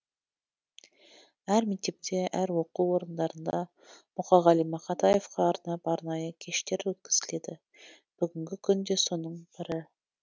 әр мектепте әр оқу орындарында мұқағали мақатаевқа арнап арнайы кештер өткізіледі бүгінгі күн де соның бірі